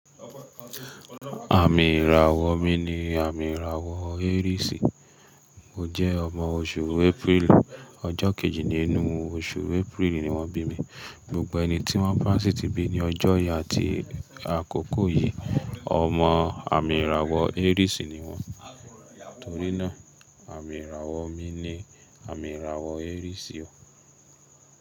Àmì ìràwọ̀ mi ni àmì ìràwọ̀ Aries. Mo jẹ́ ọmọ oṣù April, ọjọ́ kejì nínú oṣù April ni wọ́n bí mi. Gbogbo ẹni tí wọ́n bá sì tí bí ní ọjọ́ yí àti àkókò yí, ọmọ àmì ìràwọ̀ Aries ni wọ́n. Torí náà, àmì ìràwọ̀ mi ni àmì ìràwọ̀ Aries o.